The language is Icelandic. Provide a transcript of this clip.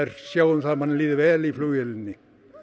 sjá um að manni líði vel í flugvélinni